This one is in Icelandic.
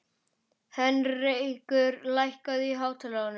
Heinrekur, lækkaðu í hátalaranum.